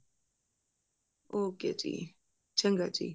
okay ਜੀ ਚੰਗਾ ਜੀ